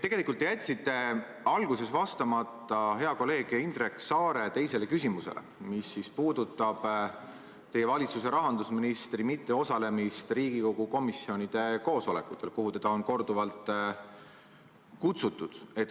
Tegelikult te jätsite alguses vastamata hea kolleegi Indrek Saare teisele küsimusele, mis puudutas teie valitsuse rahandusministri mitteosalemist Riigikogu komisjonide koosolekutel, kuhu teda on korduvalt kutsutud.